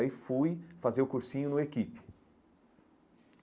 Aí fui fazer o cursinho no Equipe.